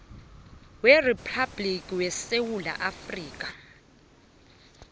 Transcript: weriphabhligi yesewula afrika